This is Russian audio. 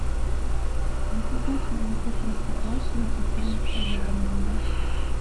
заказать молоко простоквашино украинского бренда